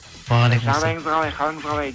уағалейкум асслям жағдайыңыз қалай қалыңыз қалай